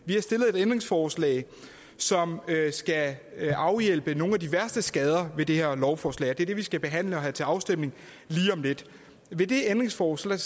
vi har stillet et ændringsforslag som skal afhjælpe nogle af de værste skader ved det her lovforslag og det er det vi skal behandle og have til afstemning lige om lidt i det ændringsforslag